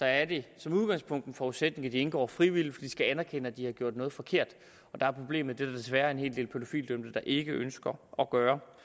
er det som udgangspunkt en forudsætning at de indgår frivilligt de skal anerkende at de har gjort noget forkert og der er problemet at der desværre er en hel del pædofilidømte der ikke ønsker at gøre